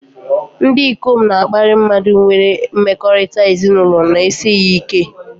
Ndị ikom na-akparị mmadụ nwere mmekọrịta ezinụlọ na-esighị ike